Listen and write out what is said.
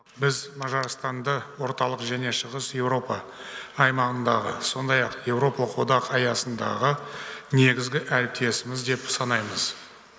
біз мажарстанды орталық және шығыс еуропа аймағындағы сондай ақ еуропалық одақ аясындағы негізгі әріптесіміз деп санаймыз